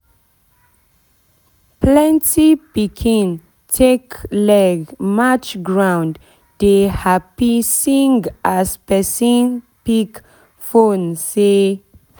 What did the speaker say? plenty pikin take leg march ground dey happy sing as pesin pick phonesay